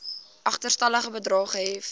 agterstallige bedrae gehef